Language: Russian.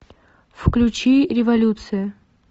включи революция